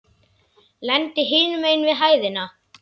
Lendi hinum megin við hæðina.